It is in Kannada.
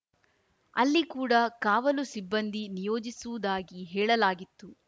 ಅಲ್ಲಿ ಕೂಡ ಕಾವಲು ಸಿಬ್ಬಂದಿ ನಿಯೋಜಿಸುವುದಾಗಿ ಹೇಳಲಾಗಿತ್ತು